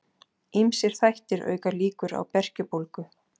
Ýmsir þættir auka líkur á berkjubólgu.